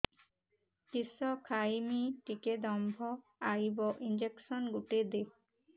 କିସ ଖାଇମି ଟିକେ ଦମ୍ଭ ଆଇବ ଇଞ୍ଜେକସନ ଗୁଟେ ଦେ